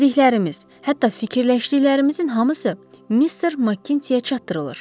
Dediklərimiz, hətta fikirləşdiklərimizin hamısı Mister Makiçiyə çatdırılır.